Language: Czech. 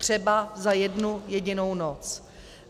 Třeba za jednu jedinou noc.